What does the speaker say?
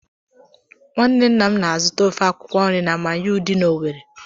Nwanne nna m na-azụta ofe akwụkwọ nri na Manyuu dị n'Owerri.